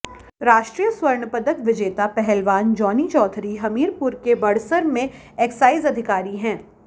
राष्ट्रीय स्वर्ण पदक विजेता पहलवान जॉनी चौधरी हमीरपुर के बड़सर में एक्साइज अधिकारी हैं